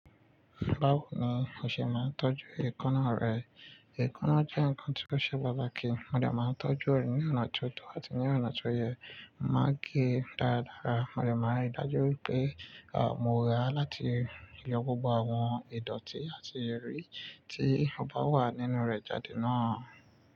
Bawo ni o ṣe máa ń tọ́jú èékánná rẹ. Èékánná jẹ́ nǹkan tí ó ṣe bátakì, mo dè máa ń tọ́jú ẹ̀ ní ọ̀nà tó tọ́ àti ní ọ̀nà tó yẹ. Máa gé e dáradára, mo dè máa ń ri dájú wípé, à, mo rà á láti yọ gbogbo àwọn ìdọ̀tí àti eri tí ọba wà nínú rẹ̀ jáde náà.